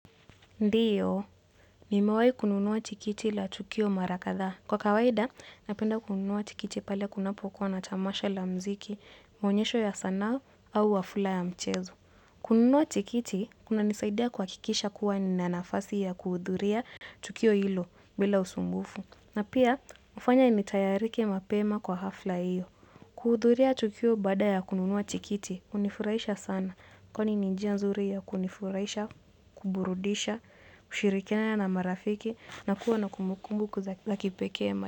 Ndiyo, nimewai kununuwa tikiti la tukio mara kadhaa. Kwa kawaida, napenda kununuwa tikiti pale kunapo kuwa na tamasha la mziki, maonyesho ya sanaa au hafla ya mchezo. Kununua tikiti, kuna nisaidia kuhakikisha kuwa nina nafasi ya kuhudhuria tukio hilo bila usumbufu. Na pia, hufanya nitayarike mapema kwa hafla hiyo. Kuhudhuria tukio baada ya kununua tikiti, hunifurahisha sana. Kwani ni njia nzuri ya kunifurahisha, kuburudisha, kushirikiana na marafiki na kuwa na kumbu kumbu la kipekee.